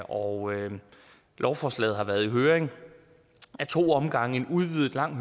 og lovforslaget har været i høring ad to omgange en udvidet lang